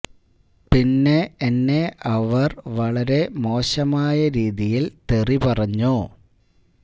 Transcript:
പിന്നെ എന്നെ അവര് വളരെ മോശമായ രീതിയില് തെറി പറഞ്ഞു